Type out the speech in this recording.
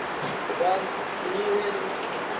vha nila yavhui ya u